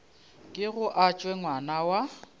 kego a tšwe ngwana wa